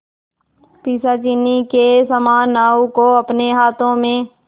पिशाचिनी के समान नाव को अपने हाथों में